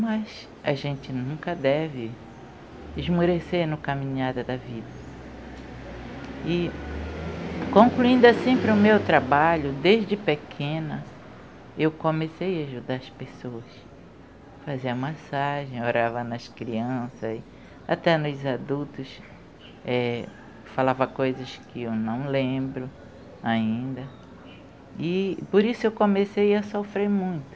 mas a gente nunca deve esmurecer no caminhada da vida e concluindo assim para o meu trabalho desde pequena eu comecei a ajudar as pessoas fazer a massagem, orava nas crianças e até nos adultos falava coisas que eu não lembro ainda e por isso eu comecei a sofrer muito